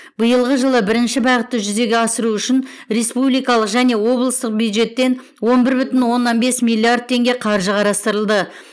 биылғы жылы бірінші бағытты жүзеге асыру үшін республикалық және облыстық бюджеттен он бір бүтін оннан бес миллиард теңге қаржы қарастырылды